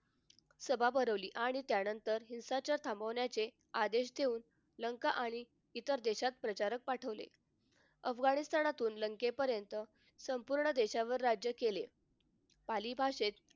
सभा भरवली आणि त्यानंतर हिंसाचार थांबवण्याचे आदेश देऊन लंका आणि इतर देशात प्रचारक पाठवले. अफगाणिस्तानातून लंकेपर्यंत संपूर्ण देशावर राज्य केले. पाली भाषेत